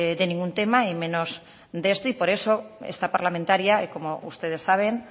de ningún tema y menos de esto y por eso esta parlamentaria como ustedes saben